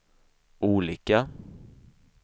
olika